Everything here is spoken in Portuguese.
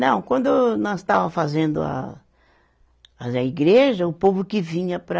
Não, quando nós estava fazendo a, a igreja, o povo que vinha para...